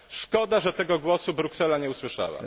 Szkoda, że tego głosu Bruksela nie usłyszała.